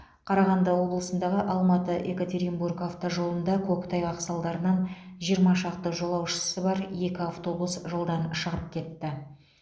қарағанды облысындағы алматы екатеринбург автожолында көктайғақ салдарынан жиырма шақты жолаушысы бар екі автобус жолдан шығып кетті